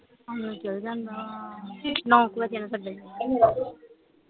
ਚੱਲ ਜਾਂਦਾ ਨੌਂ ਕੇ ਵਜੇ ਨੂੰ ਛੱਡਣ